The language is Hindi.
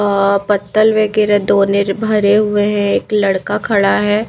अअअ पत्तल वे के लिए दो नीर भरे हुए हैं एक लड़का खड़ा हुआ है।